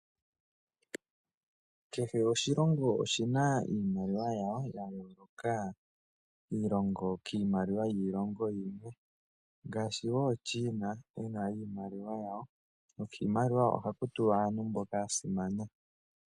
Kehe oshilongo oshina iimaliwa yasho ya yooloka kiimaliwa yiilongo iikwawo ngaashi China okuna iimaliwa ye nokiinaliwa ohaku tulwa aantu mboka yasimana.